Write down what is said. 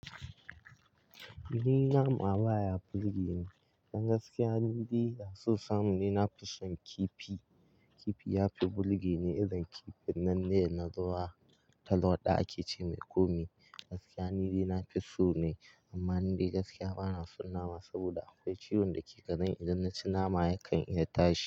Ni nama baya burge ni, dan gaskiya nidai da so samu ne na fi son kifi. Kifi yafi burge ni, irin kifin nan ne na ruwa talwaɗa ake ce mai kome gaskiya nidai nafi so ne, amma nidai gaskiya bana son nama saboda akwai ciwon da ke gareni idan naci nama yakan iya tashi.